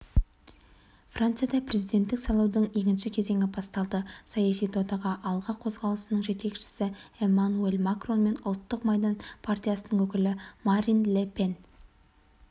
францияда президенттік сайлаудың екінші кезеңі басталды саяси додаға алға қозғалысының жетекшісі эммануэль макрон мен ұлттық майдан партиясының өкілі марин ле пен